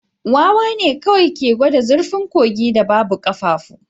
Wawa ne kawai ke gwada zurfin kogin da babu ƙafafu